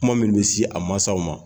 Kuma min bɛ si a mansaw ma